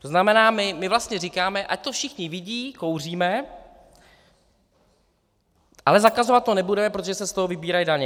To znamená, my vlastně říkáme, ať to všichni vidí, kouříme, ale zakazovat to nebudeme, protože se z toho vybírají daně.